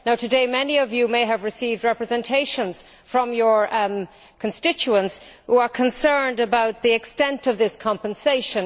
Today, many of you may have received representations from your constituents who are concerned about the extent of this compensation.